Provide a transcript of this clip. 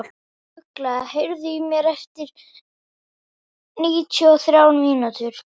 Ugla, heyrðu í mér eftir níutíu og þrjár mínútur.